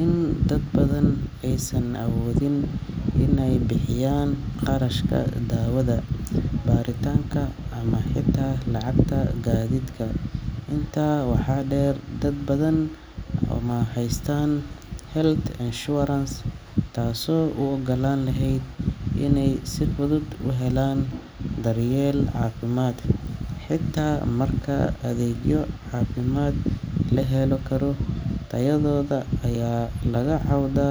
in dad badan aysan awoodin inay bixiyaan kharashka daawada, baaritaanka, ama xitaa lacagta gaadiidka. Intaa waxaa dheer, dad badan ma haystaan health insurance taasoo u oggolaan lahayd inay si fudud u helaan daryeel caafimaad. Xitaa marka adeegyo caafimaad la heli karo, tayadooda ayaa laga cawdaa.